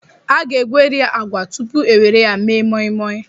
A ga-egweri agwa tupu e were ya mee moi-moi.